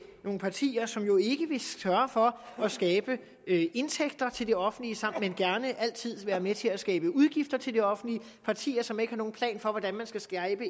nogle partier som jo ikke vil sørge for at skabe indtægter til det offentlige men gerne altid vil være med til at skabe udgifter til det offentlige partier som ikke har nogen plan for hvordan man skal skabe